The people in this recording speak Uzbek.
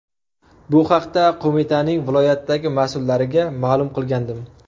Bu haqda qo‘mitaning viloyatdagi mas’ullariga ma’lum qilgandim.